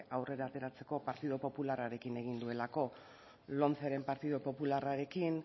aurrera ateratzeko partido popularrarekin egin duelako lomceren partido popularrarekin